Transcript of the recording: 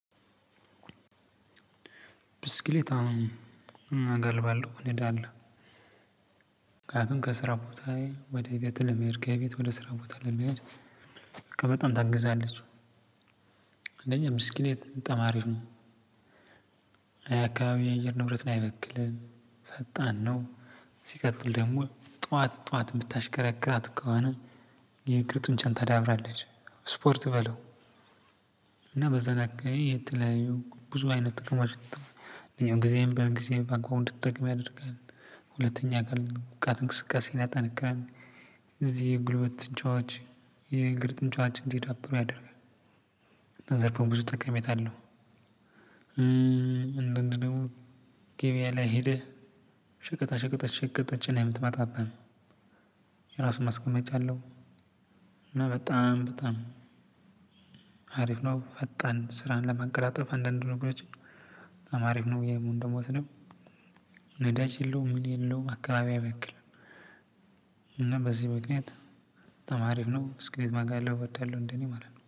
ብስክሌት አዎ እጋልባለሁ እነዳለሁ። ምክንያቱም ከስራ ቦታዬ ወደ ቤቴ ለመሄድ ከቤት ወደ ስራ ቦታ ለመሄድ በቃ በጣም ታግዛለች። አንደኛ ምስክሌት በጣም አሪፍ ነው የአካባቢ የአየር ንብረትን አይበክልም ፈጣን ነው። ሲቀጥል ደግሞ ጠዋት ጠዋት የምታሽከረክራት ከሆነ የእግር ጡንቻን ታዳብራለች ስፖርት በለው። እና በዛን አካባቢ የተለያዩ ብዙ አይነት ጥቅሞችን ይጠቅማል ጊዜም ጊዜን በአግባቡ እንድትጠቀም ያደርጋል። ሁለተኛ የአካል ብቃት እንቅስቃሴን ያጠነክራል። እነዚህ የጉልበት ጡንቻዎች የእግር ጡንቻዎች እንዲዳብሩ ያደርጋል። ብዙ ጠቀሜታ አለው። እንደንድ ደግሞ ገበያ ላይ ሄደህ ሸቀጣሸቀጦችን ጭነህ የምትመጣበት ነው። የራሱ ማስቀመጫ አለሁ። እና በጣም በጣም አሪፍ ነው። ፈጣን ስራን ለመቀላጠፍ አንድ አንድ ነገሮችን በጣም አሪፍ ነው የምወስደው። ነዳጅ የለውም ምን የለውም አካባቢ አይበክልም እና በዚህ ምክንያት በጣም አሪፍ ነው። ብስክሌት መጋለብ እወዳለሁ እንደኔ ማለት ነው